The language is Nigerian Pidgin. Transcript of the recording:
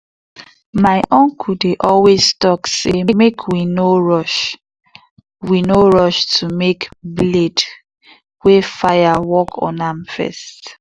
my uncle dey always talk say make we no rush we no rush to make blade wey fire work on am first.